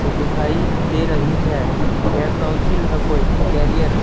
दिखाई दे रही है यह काउंसिल है कोई करियर --